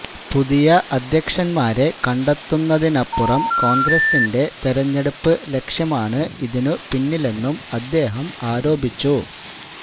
പുതിയ അധ്യക്ഷന്മാരെ കണ്ടെത്തുന്നതിനപ്പുറം കോണ്ഗ്രസിന്റെ തെരഞ്ഞെടുപ്പ് ലക്ഷ്യമാണ് ഇതിനുപിന്നിലെന്നും അദ്ദേഹം ആരോപിച്ചു